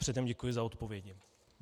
Předem děkuji za odpovědi.